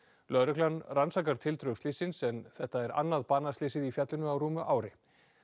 lögreglan rannsakar tildrög slyssins en þetta er annað í fjallinu á rúmu ári